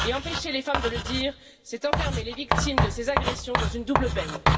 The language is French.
empêcher les femmes de le dire, c'est enfermer les victimes de ces agressions dans une double peine.